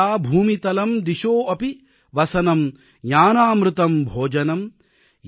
ஷய்யா பூமிதலம் திசோபி வஸனம் ஞானாம்ருதம் போஜனம்